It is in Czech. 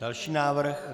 Další návrh.